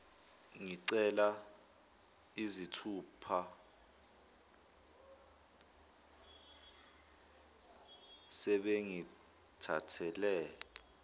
ngincela izithupha sebengithathele